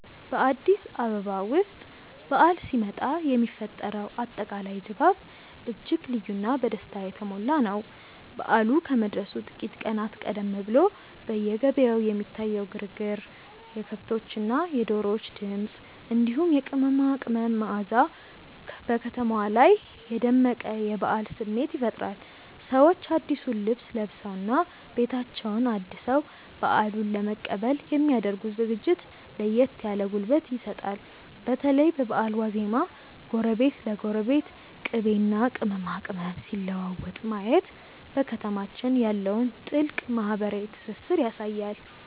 በአዲስ አበባ ውስጥ በዓል ሲመጣ የሚፈጠረው አጠቃላይ ድባብ እጅግ ልዩና በደስታ የተሞላ ነው። በዓሉ ከመድረሱ ጥቂት ቀናት ቀደም ብሎ በየገበያው የሚታየው ግርግር፣ የከብቶችና የዶሮዎች ድምፅ፣ እንዲሁም የቅመማ ቅመም መዓዛ በከተማዋ ላይ የደመቀ የበዓል ስሜት ይፈጥራል። ሰዎች አዲሱን ልብስ ለብሰውና ቤታቸውን አድሰው በዓሉን ለመቀበል የሚ ያደርጉት ዝግጅት ለየት ያለ ጉልበት ይሰጣል። በተለይ በበዓል ዋዜማ ጎረቤት ለጎረቤት ቅቤና ቅመማ ቅመም ሲለዋወጥ ማየት በከተማችን ያለውን ጥልቅ ማህበራዊ ትስስር ያሳያል።